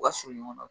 U ka surun ɲɔgɔn na